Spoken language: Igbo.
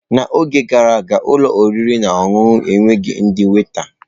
N'oge gara aga, ụlọ oriri na ọṅụṅụ enweghị ndị waita.